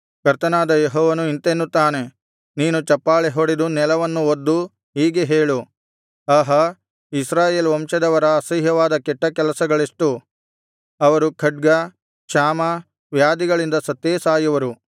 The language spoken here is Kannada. ಕರ್ತನಾದ ಯೆಹೋವನು ಇಂತೆನ್ನುತ್ತಾನೆ ನೀನು ಚಪ್ಪಾಳೆಹೊಡೆದು ನೆಲವನ್ನು ಒದ್ದು ಹೀಗೆ ಹೇಳು ಆಹಾ ಇಸ್ರಾಯೇಲ್ ವಂಶದವರ ಅಸಹ್ಯವಾದ ಕೆಟ್ಟಕೆಲಸಗಳೆಷ್ಟು ಅವರು ಖಡ್ಗ ಕ್ಷಾಮ ವ್ಯಾಧಿಗಳಿಂದ ಸತ್ತೇ ಸಾಯುವರು